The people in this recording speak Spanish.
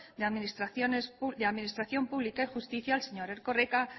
de administración pública y justicia el señor erkoreka